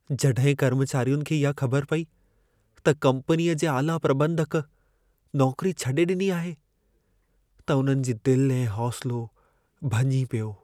जॾहिं कर्मचारियुनि खे इहा ख़बर पई त कम्पनीअ जे आला प्रॿंधक नौकरी छॾी ॾिनी आहे, त उन्हनि जी दिल ऐं हौसलो भञी पियो।